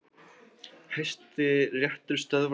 Hæstiréttur stöðvar aftöku